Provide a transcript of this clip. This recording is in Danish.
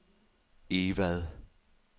Egvad